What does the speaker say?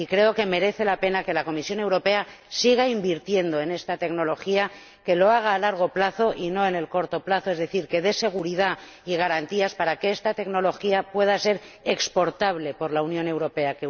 Y creo que merece la pena que la Comisión Europea siga invirtiendo en esta tecnología, que lo haga a largo plazo y a corto plazo, es decir, que dé seguridad y garantías para que esta tecnología pueda ser exportable por la Unión Europea.